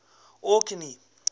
orkney